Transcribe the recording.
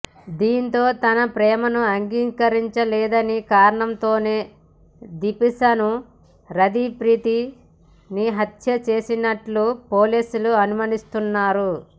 దీంతో తన ప్రేమను అంగీకరించలేదన్న కారణంతోనే దీపాన్షు రథి ప్రీతిని హత్య చేసినట్లు పోలీసులు అనుమానిస్తున్నారు